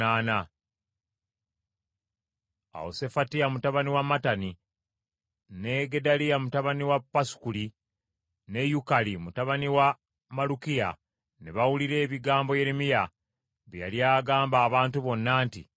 Awo Sefatiya mutabani wa Mattani ne Gedaliya mutabani wa Pasukuli ne Yukali mutabani wa Malukiya ne bawulira ebigambo Yeremiya bye yali agamba abantu bonna nti,